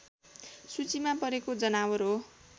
सूचीमा परेको जनावर हो